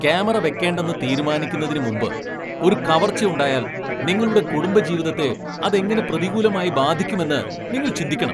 Camera വെക്കേണ്ടെന്ന് തീരുമാനിക്കുന്നതിന് മുമ്പ് ഒരു കവർച്ച ഉണ്ടായാൽ നിങ്ങളുടെ കുടുംബജീവിതത്തെ അത് എങ്ങനെ പ്രതികൂലമായി ബാധിക്കുമെന്ന് നിങ്ങൾ ചിന്തിക്കണം.